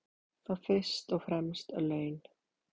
Þá fyrst og fremst laun.